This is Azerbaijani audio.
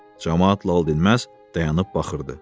Camaat laldinməz dayanıb baxırdı.